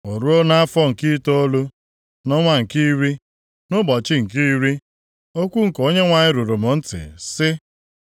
O ruo nʼafọ nke itoolu, nʼọnwa nke iri, nʼụbọchị nke iri, okwu nke Onyenwe anyị ruru m ntị, sị,